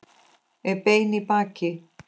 Er beinn í baki.